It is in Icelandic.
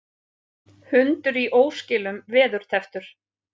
Hundur í óskilum veðurtepptur